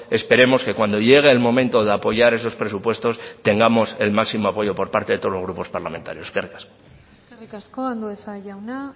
esperemos que cuando llegue el momento de apoyar esos presupuestos tengamos el máximo apoyo por parte de todos los grupos parlamentarios eskerrik asko eskerrik asko andueza jauna